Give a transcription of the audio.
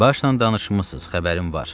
Başla danışmısınız, xəbərim var.